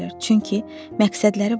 Çünki məqsədləri vardı.